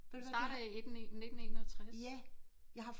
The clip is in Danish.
Det starter i 1961